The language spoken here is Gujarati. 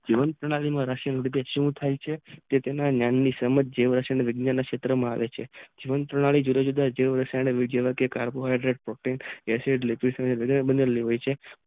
નવી પાણાલી માં થી થાય છે કે તેમને વિજ્ઞાન સેતરમાં આવે છે તે પાણાલી જુદા જુદા સળે આવે છે જે વા કાર્બો હેડેટ એસિડ લેકવેદ બનેલ હોય છે